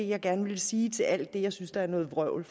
jeg gerne ville sige til alt det jeg synes er noget vrøvl